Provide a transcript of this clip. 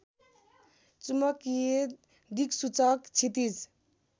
चुम्बकीय दिक्सूचक क्षितिज